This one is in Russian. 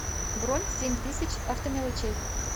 бронь семь тысяч автомелочей